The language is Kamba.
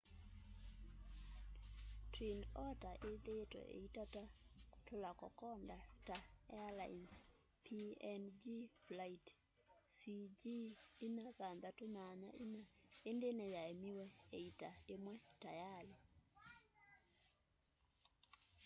twin otter ĩthĩĩtwe ĩitata kũtũũla kokoda ta airlines png flight cg4684 ĩndĩ nĩyaemiwe ĩita ĩmwe tayalĩ